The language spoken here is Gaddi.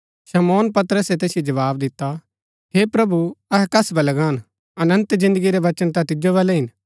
शमौन पतरसे तैसिओ जवाव दिता हे प्रभु अहै कस वलै गान अनन्त जिन्दगी रै वचन ता तिजो बलै हिन